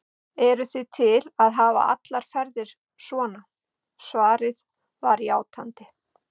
Eruð þið til að hafa allar ferið svona? svarið var játandi.